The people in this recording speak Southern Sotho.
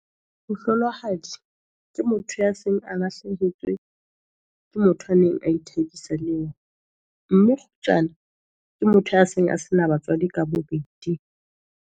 Mohlolohadi ke motho ya seng a lahlehetswe ke motho a neng a ithabisa le yena. Mme kgutsana ke motho a seng a sena batswadi ka bobedi.